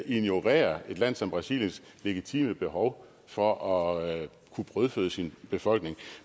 ignorerer et land som brasiliens legitime behov for at kunne brødføde sin befolkning